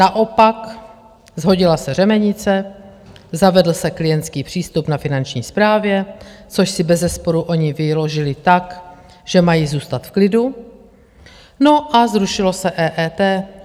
Naopak shodila se řemenice, zavedl se klientský přístup na finanční správě, což si bezesporu oni vyložili tak, že mají zůstat v klidu, no a zrušilo se EET.